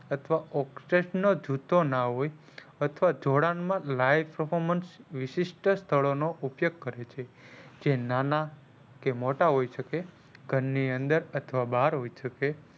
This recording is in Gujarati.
અથવા નો જુત્તો ના હોય અથવા જોડાણ માં live performance વિશિષ્ઠ સ્થળો નો ઉપયોગ કરે છે જે નાના કે મોટા હોઈ શકે ઘર ની અંદર કે બાર હોઈ શકે.